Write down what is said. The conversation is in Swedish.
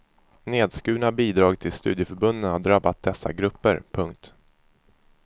Nedskurna bidrag till studieförbunden har drabbat dessa grupper. punkt